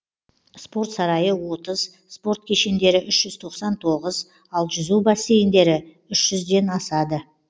спорт сарайы отыз спорт кешендері үш жүз тоқсан тоғыз ал жүзу бассейндері үш жүзден асады